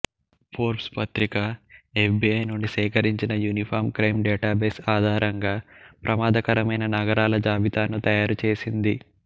Forbes పత్రిక F B I నుండి సేకరించిన యూనిఫాం క్రైం డేటాబేస్ ఆధారంగా ప్రమాదకరమైన నగరాల జాబితాను తయారుచేసింది